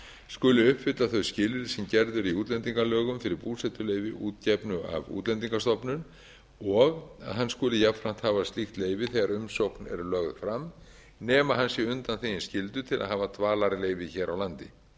skuli uppfylla þau skilyrði sem gerð eru í útlendingalögum fyrir búsetuleyfi uppgefnu af útlendingastofnun og hann skuli jafnframt hafa slíkt leyfi þegar umsókn er lögð fram nema hann sé undanþeginn skyldu nema hafa dvalarleyfi hér á landi